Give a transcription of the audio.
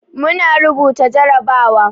Muna rubuta jarabawa.